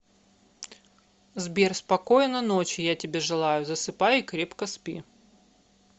сбер спокойно ночи я тебе желаю засыпай и крепко спи